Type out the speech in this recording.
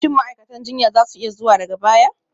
Shin ma'aikatan jinya za su iya zuwa daga baya?